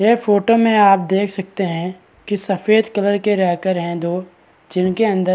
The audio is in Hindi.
यह फोटो में आप देख सकते है कि सफ़ेद कलर के रैकर है दो जिनके अंदर --